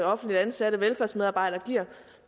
og offentligt ansatte velfærdsmedarbejdere giver